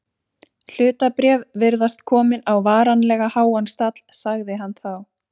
Hlutabréf virðast komin á varanlega háan stall sagði hann þá.